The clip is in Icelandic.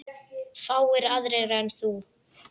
Fáir aðrir en þú.